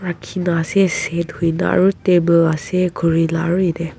Kheno ase set hoina aro table ase khure la aro yete.